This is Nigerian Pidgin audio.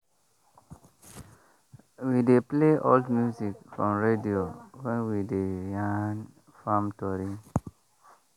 we dey play old music from radio when we dey yarn farm tori.